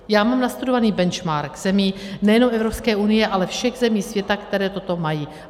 Já mám nastudovaný benchmark zemí nejenom Evropské unie, ale všech zemí světa, které toto mají.